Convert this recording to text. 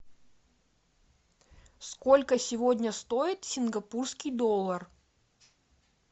сколько сегодня стоит сингапурский доллар